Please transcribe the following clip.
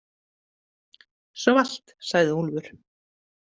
Svalt, sagði Úlfur.